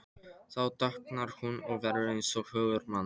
Þá dökknar hún og verður eins og hugur manns.